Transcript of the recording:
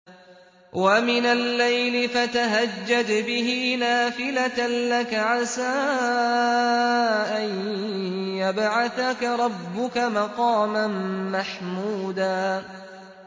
وَمِنَ اللَّيْلِ فَتَهَجَّدْ بِهِ نَافِلَةً لَّكَ عَسَىٰ أَن يَبْعَثَكَ رَبُّكَ مَقَامًا مَّحْمُودًا